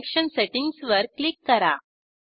connection सेटिंग्जवर click करा